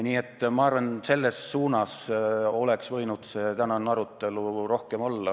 Nii et ma arvan, et selles suunas oleks võinud see tänane arutelu rohkem kulgeda.